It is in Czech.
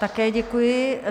Také děkuji.